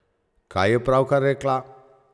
Kaj je pravkar rekla?